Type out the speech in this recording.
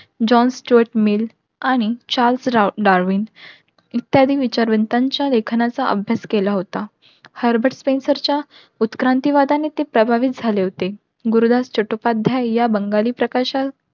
आणि इत्यादी विचारवंतांच्या लेखनाचा अभ्या केला होता. च्या उत्क्रांती वादाने ते प्रभावित झाले होते. गुरुदास चटोपाध्याय या बंगाली प्रकाशा